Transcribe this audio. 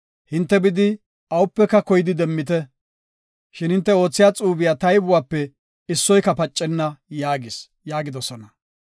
Hinte bidi awupeka koydi demmite. Shin hinte oothiya xuube taybuwape issoyka pacenna’ yaagis” yaagidosona.